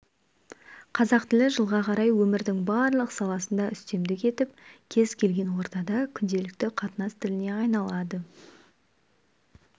қазақ тілі жылға қарай өмірдің барлық саласында үстемдік етіп кез келген ортада күнделікті қатынас тіліне айналады